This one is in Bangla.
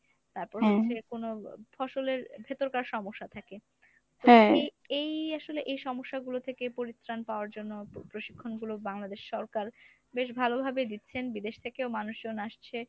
তারপর কোনো ফসলের ভেতরকার সমস্যা থাকে তো এই আসলে এই সমস্যাগুলো থেকে পরিত্রাণ পাওয়ার জন্য প্রশিক্ষণগুলো বাংলাদেশ সরকার বেশ ভালোভাবে দিচ্ছেন। বিদেশ থেকেও মানুষজন আসছে